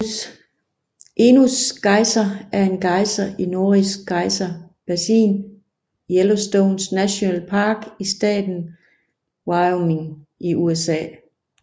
Echinus Geyser er en gejser i Norris Geyser Basin i Yellowstone National Park i staten Wyoming i USA